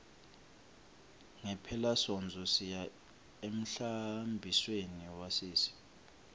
ngephelasontfo siya emhlambisweni wasisi